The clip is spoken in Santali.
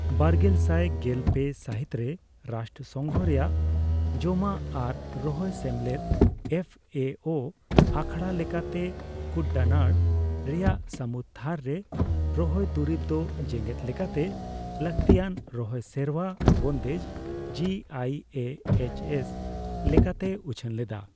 ᱵᱟᱨᱜᱮᱥᱟᱭ ᱜᱮᱞ ᱯᱮ ᱥᱟᱹᱦᱤᱛᱨᱮ ᱨᱟᱥᱴᱨᱚᱥᱚᱝᱜᱷᱚ ᱨᱮᱭᱟᱜ ᱡᱚᱢᱟᱜ ᱟᱨ ᱨᱚᱦᱚᱭ ᱥᱮᱢᱞᱮᱫ (ᱮᱯᱷ ᱮ ᱳ) ᱟᱠᱷᱲᱟ ᱞᱮᱠᱟᱛᱮ ᱠᱩᱴᱰᱟᱱᱟᱲ ᱨᱮᱭᱟᱜ ᱥᱟᱹᱢᱩᱫ ᱛᱷᱟᱨᱼᱨᱮ ᱨᱚᱦᱚᱭ ᱫᱩᱨᱤᱵ ᱫᱚ ᱡᱮᱸᱜᱮᱫ ᱞᱮᱠᱟᱛᱮ ᱞᱟᱹᱠᱛᱤᱭᱟᱱ ᱨᱚᱦᱚᱭ ᱥᱮᱨᱣᱟ ᱵᱚᱱᱫᱮᱡ (G I A H S) ᱞᱮᱠᱟᱛᱮᱭ ᱩᱪᱷᱟᱹᱱ ᱞᱮᱫᱟ ᱾